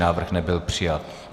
Návrh nebyl přijat.